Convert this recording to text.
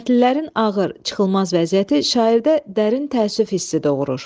Kəndlilərin ağır, çıxılmaz vəziyyəti şairdə dərin təəssüf hissi doğurur.